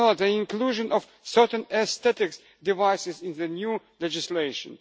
third, the inclusion of certain aesthetic devices in the new legislation